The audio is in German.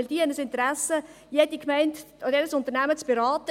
Diese haben ein Interesse, jede Gemeinde oder jedes Unternehmen zu beraten: